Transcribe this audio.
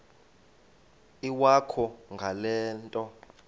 iwakho ngale nto